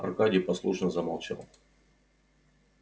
аркадий послушно замолчал